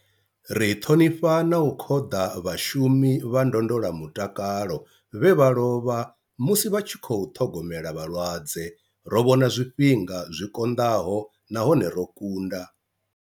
Ri ṱhonifha na u khoḓa vhashu mi vha ndondola mutakalo vhe vha lovha musi vha tshi khou ṱhogomela vhalwadze. Ro vhona zwifhinga zwi konḓaho nahone ro kunda.